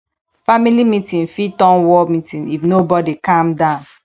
family meeting fit turn war meeting if nobodi calm down